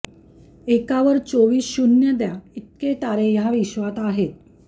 एकावर चोवीस शून्य द्या इतके तारे ह्या विश्वांत आहेत